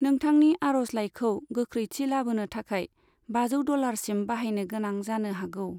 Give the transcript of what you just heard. नोंथांनि आर'जलाइखौ गौख्रैथि लाबोनो थाखाय बाजौ डलारसिम बाहायनो गोनां जानो हागौ।